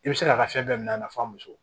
I bɛ se k'a ka fɛn bɛɛ minɛ a na f'a muso